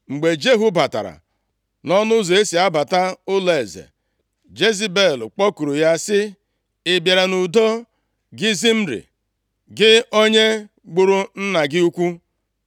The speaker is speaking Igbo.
Mgbe Jehu batara nʼọnụ ụzọ e si abata ụlọeze, Jezebel kpọkuru ya sị, “Ị bịara nʼudo, gị Zimri, gị onye gburu nna gị ukwu.”